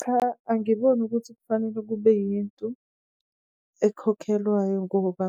Cha, angiboni ukuthi kufanele kube yinto ekhokhelwayo ngoba